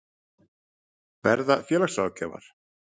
Verða félagsráðgjafar?